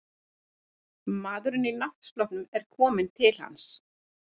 Maðurinn í náttsloppnum er kominn til hans.